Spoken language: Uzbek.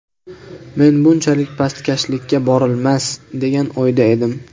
Men bunchalik pastkashlikka borilmas, degan o‘yda edim.